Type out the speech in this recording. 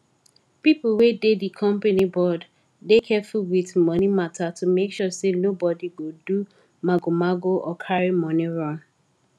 people wey dey di company board dey careful with money matter to make sure say nobody go do magomago or carry money run